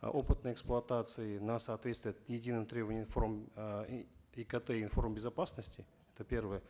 э опытной эксплуатации на соответствие единым требованиям икт информ безопасности это первое